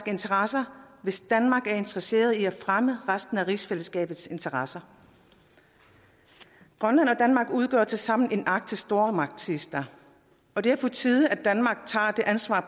interesser hvis danmark er interesseret i at fremme resten af rigsfællesskabets interesser grønland og danmark udgør tilsammen en arktisk stormagt siges der og det er på tide at danmark tager det ansvar